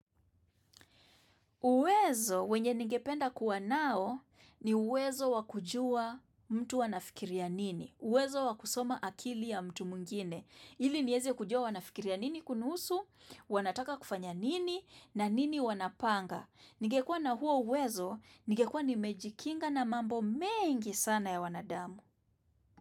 Uwezo wenye ningependa kuwa nao ni uwezo wa kujua mtu anafikiria nini. Uwezo wakusoma akili ya mtu mungine. Ili nieze kujua wanafikiria nini kunihusu, wanataka kufanya nini, na nini wanapanga. Ningekuwa na huo uwezo, ningekuwa nimejikinga na mambo mengi sana ya wanadamu.